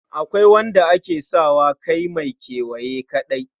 Akwai wanda ake sa wa kai mai kewaye kaɗai.